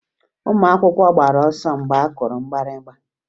Ụmụ akwụkwọ gbara ọsọ mgbe a kụrụ mgbịrịgba